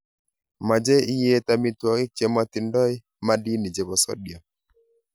meche iet. amitwogik che matindoi madini chepo sodiam.